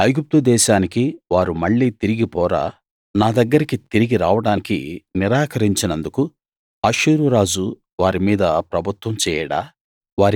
ఐగుప్తు దేశానికి వారు మళ్ళీ తిరిగి పోరా నా దగ్గరకి తిరిగి రావడానికి నిరాకరించినందుకు అష్షూరు రాజు వారి మీద ప్రభుత్వం చేయడా